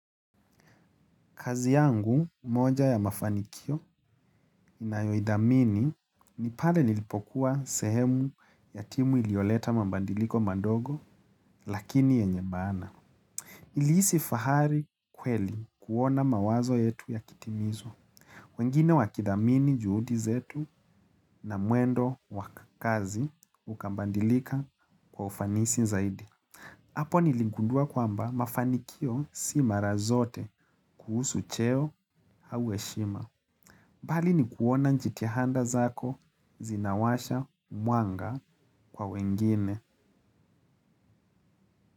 Kazi yangu moja ya mafanikio inayoidhamini ni pale nilipokuwa sehemu ya timu ilioleta mambandiliko mandogo lakini yenye maana. Nilihisi fahari kweli kuona mawazo yetu yakitimizwa. Wengine wakidhamini juhudi zetu na mwendo wa kazi ukambandilika kwa ufanisi zaidi. Apo niligundua kwamba mafanikio si mara zote kuhusu cheo au heshima. Mbali ni kuona njitihanda zako zinawasha mwanga kwa wengine.